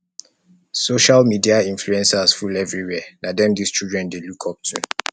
social media influencers full everywhere na dem dese children dey lookup to to